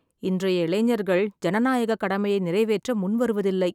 இன்றைய இளைஞர்கள் ஜனநாயக கடமையை நிறைவேற்ற முன்வருவதில்லை.